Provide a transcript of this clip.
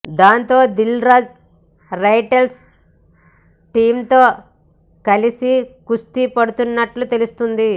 దాంతో దిల్ రాజు రైటర్స్ టీమ్తో కలిసి కుస్తీ పడుతున్నట్టు తెలుస్తుంది